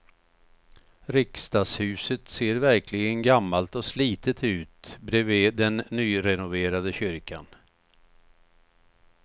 Riksdagshuset ser verkligen gammalt och slitet ut bredvid den nyrenoverade kyrkan.